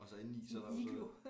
Og så inden i så er der jo så